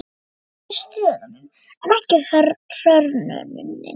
Jú, kannski stöðnunin, en ekki hrörnunin.